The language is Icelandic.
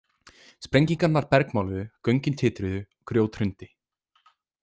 Sprengingarnar bergmáluðu, göngin titruðu, grjót hrundi.